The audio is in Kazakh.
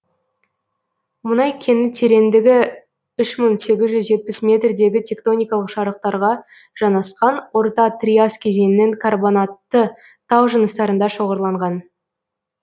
мұнай кені тереңдігі үш мың сегіз жүз жетпіс метрдегі тектоникалық жарықтарға жанасқан орта триас кезеңінің карбонатты тау жыныстарында шоғырланған